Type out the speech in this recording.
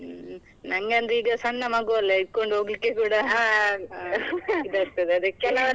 ಹ್ಮ್, ನಂಗೆ ಅಂದ್ರೆ ಈಗ ಸಣ್ಣ ಮಗುವಲ್ಲ ಇಟ್ಕೊಂಡು ಹೋಗ್ಲಿಕ್ಕೆ ಇದಾಗ್ತದೇ ಅದಕ್ಕೆ.